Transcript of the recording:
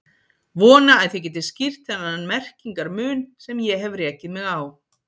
Vona að þið getið skýrt þennan merkingar mun sem ég hef rekið mig á.